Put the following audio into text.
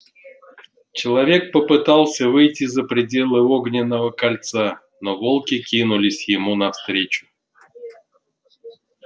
человек попытался выйти за пределы огненного кольца но волки кинулись ему навстречу